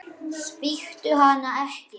Svíktu hana ekki.